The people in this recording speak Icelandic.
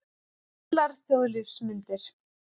Gamlar þjóðlífsmyndir.